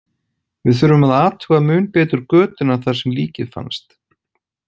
Við þurfum að athuga mun betur götuna þar sem líkið fannst.